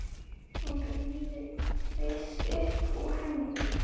Hún ryðst upp úr henni.